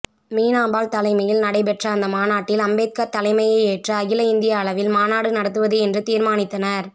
மீனாம்பாள் தலைமையில் நடைபெற்ற அந்த மாநாட்டில் அம்பேத்கர் தலைமையை ஏற்று அகில இந்திய அளவில் மாநாடு நடத்துவது என்று தீர்மானித்தனர்